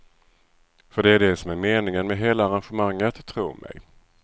För det är det som är meningen med hela arrangemanget, tro mig.